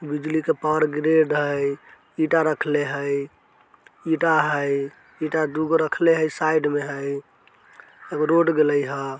बिजली के power grid हय ईटा रखले हय ईटा हय ईटा दू गो रखले हय साइड में हय एगो रोड गयले हय।